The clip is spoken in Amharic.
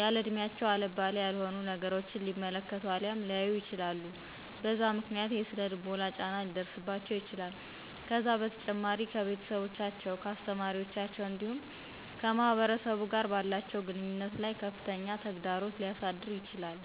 ያለእድሚያቸው አልባሌ ያልሆኑ ነገራቶችን ሊመለከቱ አልያም ሊያዩ ይችላሉ በዛ ምክንያት የሰነ ልቦና ጫና ሊደርሰባቸው ይችላል ከዛ በተጨማሪም ከቤተሰቦቻቸው ከአሰተማሪዎቻቸው እንዲሁም ከማህበረሰቡ ጋር ባላቸው ግንኙነት ላይ ከፍተኛ ተግዳሮት ሊያሳድር ይችላል